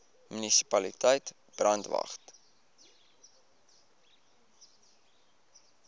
munisipaliteit brandwatch